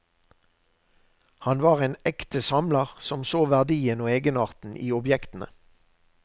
Han var en ekte samler som så verdien og egenarten i objektene.